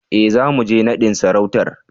E, zamu je naɗin sarautar.